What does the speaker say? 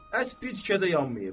Ət bir tikə də yanmayıb.